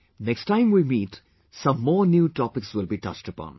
Next timewe meet, some more new topics will be touched upon